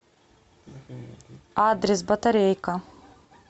адрес батарейка